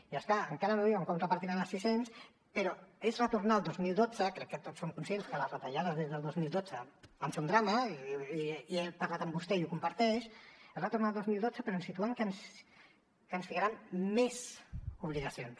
i és clar encara no diuen com repartiran els sis cents i és retornar al dos mil dotze crec que tots som conscients que les retallades des del dos mil dotze van ser un drama i he parlat amb vostè i ho comparteix però situant que ens ficaran més obligacions